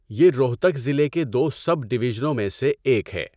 یہ روہتک ضلع کے دو سب ڈویژنوں میں سے ایک ہے۔